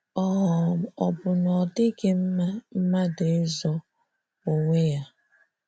um Ọ bụ na ọ dịghị mma mmadụ ịzọ onwe ya?